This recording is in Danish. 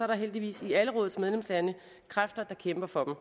der heldigvis i alle vores medlemslande kræfter der kæmper for